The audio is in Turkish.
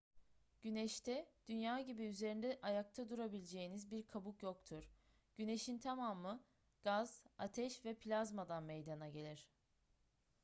güneşte dünya gibi üzerinde ayakta durabileceğiniz bir kabuk yoktur güneşin tamamı gaz ateş ve plazmadan meydana gelir